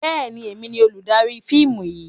Bẹ́ẹ̀ni, èmi ni olùdarí fíìmù yìí.